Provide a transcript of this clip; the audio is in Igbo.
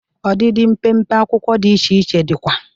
Ọdịdị mpempe akwụkwọ dị iche iche dịkwa.